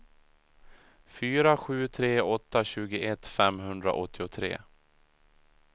fyra sju tre åtta tjugoett femhundraåttiotre